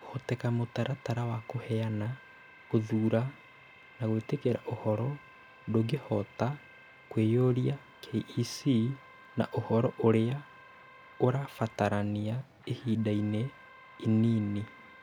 Kũhoteka mũtaratara wa kũheana, gũthuura, na gwĩtĩkĩra ũhoro ndũngĩhota kũiyũria KEC na ũhoro ũrĩa ũrabatarania ihinda-inĩ inini.